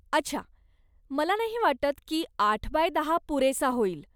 अच्छा, मला नाही वाटत की आठ बाय दहा पुरेसा होईल.